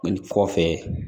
Nin kɔfɛ